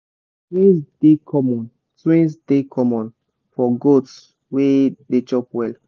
twins dey common twins dey common for goats way dey chop well.